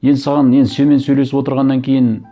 енді саған енді сенімен сөйлесіп отырғаннан кейін